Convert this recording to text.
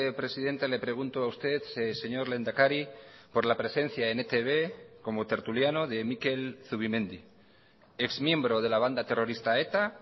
presidenta le pregunto a usted señor lehendakari por la presencia en etb como tertuliano de mikel zubimendi ex miembro de la banda terrorista eta